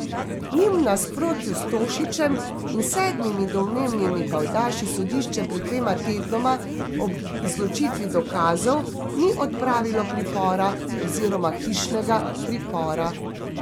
Njim v nasprotju s Tošićem in sedmimi domnevnimi pajdaši sodišče pred dvema tednoma ob izločitvi dokazov ni odpravilo pripora oziroma hišnega pripora.